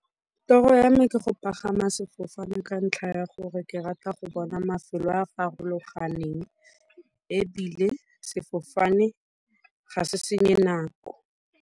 Toro ya me ke go pagama sefofane ka ntlha ya gore ke rata go bona mafelo a a farologaneng ebile sefofane ga se senye nako.